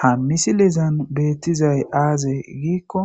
Ha misilezan beettizay aaze giikko